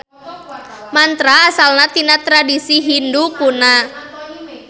Mantra asalna tina tradisi Hindu kuna.